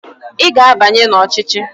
Ị ga-abanye n'ọchịchị!